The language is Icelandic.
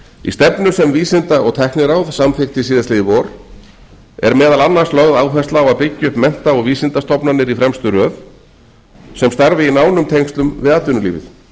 í stefnu sem vísinda og tækniráð samþykkti síðastliðið vor er meðal annars lögð áhersla á að byggja upp mennta og vísindastofnanir í fremstu röð sem starfi í nánum tengslum við atvinnulífið